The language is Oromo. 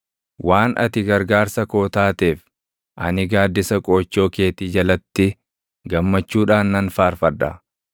Waan ati gargaarsa koo taateef, ani gaaddisa qoochoo keetii jalatti gammachuudhaan nan faarfadha.